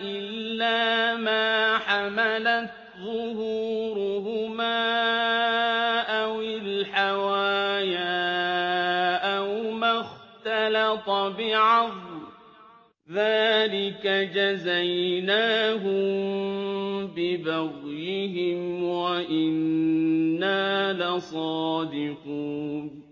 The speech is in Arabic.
إِلَّا مَا حَمَلَتْ ظُهُورُهُمَا أَوِ الْحَوَايَا أَوْ مَا اخْتَلَطَ بِعَظْمٍ ۚ ذَٰلِكَ جَزَيْنَاهُم بِبَغْيِهِمْ ۖ وَإِنَّا لَصَادِقُونَ